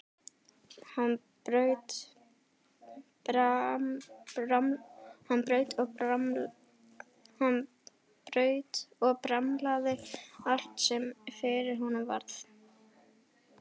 Hann braut og bramlaði allt sem fyrir honum varð.